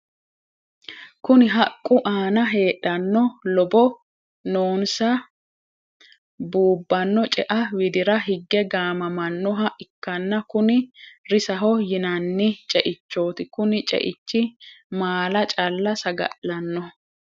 Kunni haqu aanna heedhano lobo noonsa buubano ce'a widira hige gaamamanoha ikanna kunni risaho yinnanni ce'ichooti kunni ce'ichi maala calla saga'lanoho.